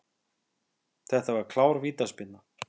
Þetta var klár vítaspyrna.